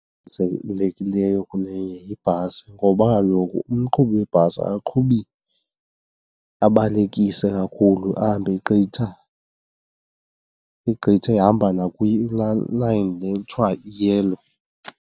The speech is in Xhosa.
kunenye yibhasi ngoba kaloku umqhubi webhasi akaqhubi abalekise kakhulu ahambe egqitha, egqitha ehamba line le kuthiwa i-yellow.